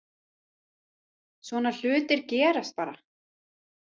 Svona hlutir gerast bara.